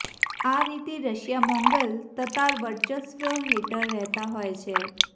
આ રીતે Russia Mongol Tatar વર્ચસ્વ હેઠળ રહેતા હોય છે